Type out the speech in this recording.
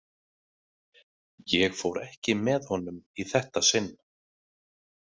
Ég fór ekki með honum í þetta sinn.